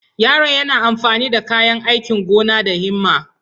Yaron yana amfani da kayan aikin gona da himma.